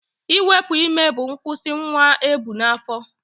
Iwepu ime bụ nkwụsị nwa ebu n'afọ